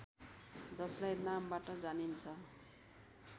जसलाई नामबाट जानिन्छ